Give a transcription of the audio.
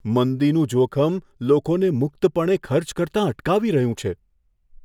મંદીનું જોખમ લોકોને મુક્તપણે ખર્ચ કરતાં અટકાવી રહ્યું છે